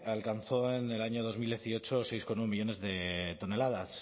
alcanzó en el año dos mil dieciocho seis coma uno millónes de toneladas